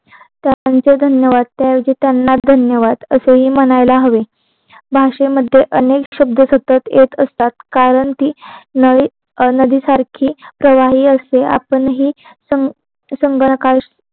संशोधन न वाचत्या एवजी त्यांना धन्यवाद असे हि मानायला हवे भाषेमध्ये अनेक शब्द सतत येत असतात कारण ती नवी अनादीसारखी प्रवाही असते आपण हि संघ्रकाष्ट